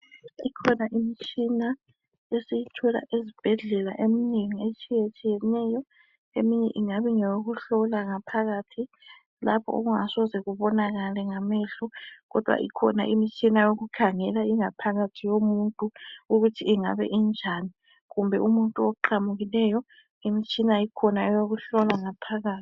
Ikhona imtshina esiyithola ezbhedlela emnengi etshiyetshiyeneyo eminye ingabe ingeyokuhlola ngaphakathi. Lapho okungasoze kubonakale ngamehlo. Kodwa ikhona imitshina yokukhangela ingaphakathi yomuntu ukuthi ingabe injani. Kumbe umuntu oqamukileyo imtshina ikhona eyokuhlola ngaphakathi.